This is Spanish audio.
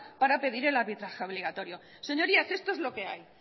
para pedir el arbitraje obligatorio señorías esto es lo que hay